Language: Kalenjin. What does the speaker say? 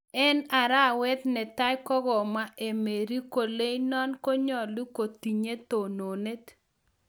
En arawet netai kogomwa Emery koleinonon konyolu kotinye tononet